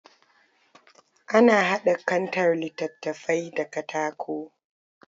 Ana haɗa kantar littattafai da katako